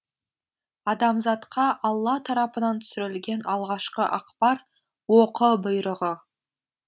адамзатқа алла тарапынан түсірілген алғашқы ақпар оқы бұйрығы